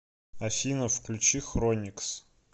афина включи хроникс